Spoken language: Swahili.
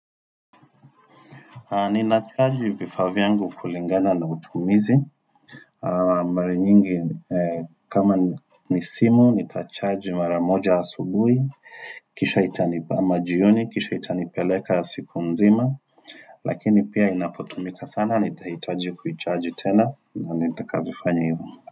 Ninacharge vifaa vyangu kulingana na utumizi Mara nyingi kama ni simu, nitacharge mara moja asubuhi Kisha itanip majioni, kisha itanipeleka siku mzima Lakini pia inapotumika sana, nitahitaji kuicharge tena na nitakavyofanya hivo.